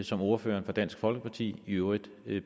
som ordføreren for dansk folkeparti i øvrigt